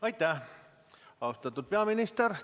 Aitäh, austatud peaminister!